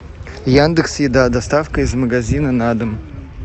яндекс еда доставка из магазина на дом